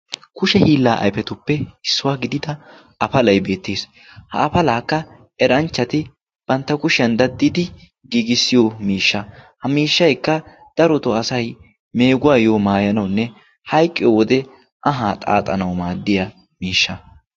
kushe hiillaa aifetuppe issuwaa gidida afalay beettiis ha afalaakka eranchchati bantta kushiyan daddidi giigissiyo miishsha ha miishshaikka daroto asay meeguwaayyo maayanawunne hayqqiyo wode ahaa xaaxanau maaddiya miishsha.